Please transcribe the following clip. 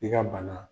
I ka bana